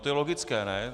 To je logické, ne?